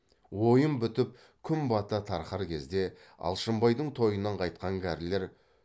ойын бітіп күн бата тарқар кезде алшынбайдың тойынан қайтқан кәрілер